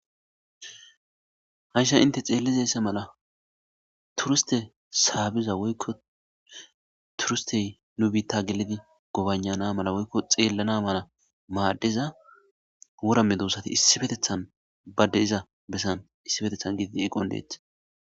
Hayissa hinite xelizza mela turusitte sabbidda woyiko turusite nu bitta gelidi gobaya'ana mala woyiko xelana mala madiza worra medossati isipetethani ba deyiza kethan dossona